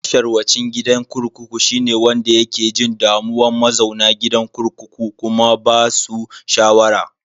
Masharwacin gidan kurkuku shine wanda yake jin damuwa mazauna gidan kurkukun kuma ba basu shawara.